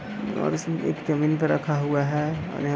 और इसमें एक जमीन पे रखा हुवा है और यहां --